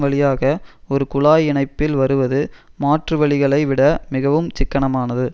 வழியாக ஒரு குழாய் இணைப்பில் வருவது மாற்றுவழிகளை விட மிகவும் சிக்கனமானது